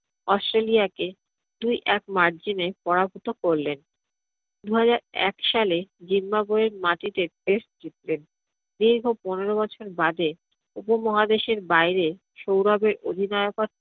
australia কে দুই এক margin এ পরাহতকরলেন। দুহাজার এক সালে zimbabwe এর মাটিতে test জিতলেন। দীর্ঘ পনেরো বছর বাদে উপমহাদেশের বাইরে সৌরভের অধিনায়ক